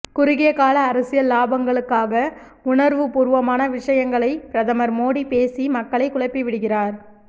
குறுகியகால அரசியல் லாபங்களுக்காக உணர்வுப்பூர்வமான விஷயங்களை பிரதமர் மோடி பேசி மக்களை குழப்பிவிடுகிறார்